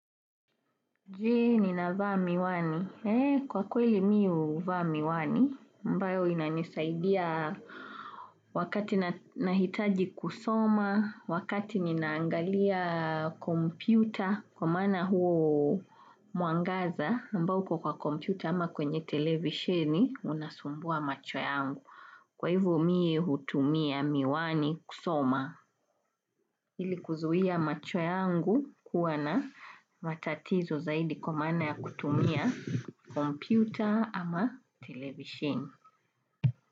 Jee, nina vaa miwani. Kwa kweli mi uvaa miwani, ambayo ina nisaidia wakati nahitaji kusoma, wakati ninaangalia kompyuta, kwa maana huo mwangaza, ambao kwa kompyuta ama kwenye televisheni, unasumbua macho yangu. Kwa hivo mie hutumia miwani kusoma ili kuzuhia macho yangu kuwa na matatizo zaidi kwa maana ya kutumia computer ama televishine.